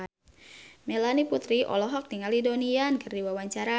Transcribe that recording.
Melanie Putri olohok ningali Donnie Yan keur diwawancara